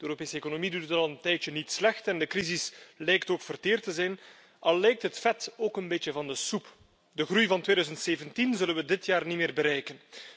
De Europese economie doet het al een tijdje niet slecht en de crisis lijkt ook verteerd te zijn, al lijkt het vet ook een beetje van de soep. De groei van 2017 zullen we dit jaar niet meer bereiken.